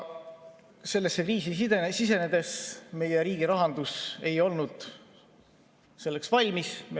Sellesse kriisi sisenedes meie riigirahandus ei olnud selleks valmis.